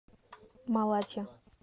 малатья